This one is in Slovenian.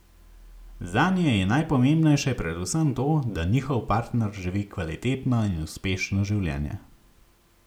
Zanje je najpomembnejše predvsem to, da njihov partner živi kvalitetno in uspešno življenje.